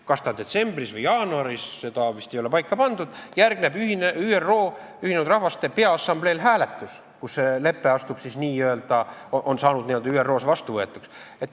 Kas see on detsembris või jaanuaris, seda vist ei ole paika pandud, Järgneb hääletus ÜRO Peaassambleel, kus lepe saab ÜRO-s vastuvõetuks.